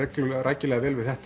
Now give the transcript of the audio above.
rækilega vel við þetta